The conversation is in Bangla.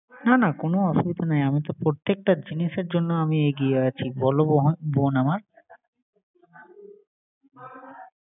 না না কোন অসুবিধা নাই আমি প্রত্যেকটা জিনিসের জন্য আমি এগিয়ে আছি। বল বোন আমার